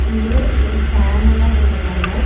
இங்க ஒரு ஃபேன் எல்லா போட்ருக்காங்க.